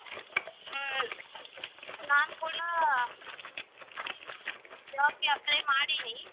ಹ್ಮ್ ನಾನ್ ಕೂಡಾ job ಗೆ apply ಮಾಡೀನಿ.